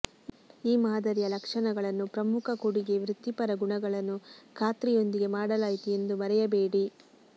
ಈ ಮಾದರಿಯ ಲಕ್ಷಣಗಳನ್ನು ಪ್ರಮುಖ ಕೊಡುಗೆ ವೃತ್ತಿಪರ ಗುಣಗಳನ್ನು ಖಾತ್ರಿಯೊಂದಿಗೆ ಮಾಡಲಾಯಿತು ಎಂದು ಮರೆಯಬೇಡಿ